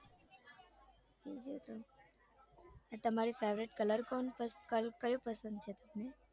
બીજું તો આ તમારો favourite colour કોણ કયો પસંદ છે તમને